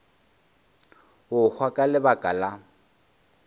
go hwa ka lebaka la